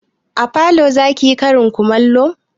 A falo zaki yi karin kumallo?